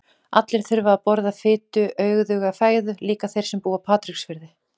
Allir þurfa að borða fituauðuga fæðu, líka þeir sem búa á Patreksfirði.